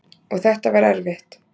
Og þetta var erfitt.